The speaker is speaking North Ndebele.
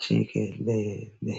jikelele